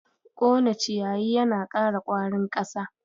Kone ciyayi yana ƙara ƙwarin ƙasa.